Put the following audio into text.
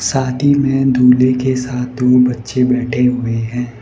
शादी में दूल्हे के साथ दो बच्चे बैठे हुए हैं।